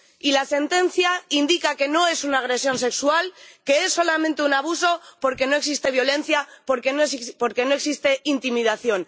Y la sentencia indica que no es una agresión sexual, que es solamente un abuso, porque no existe violencia, porque no existe intimidación.